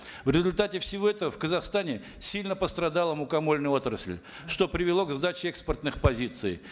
в результате всего этого в казахстане сильно пострадала мукомольная отрасль что привело к сдаче экспортных позиций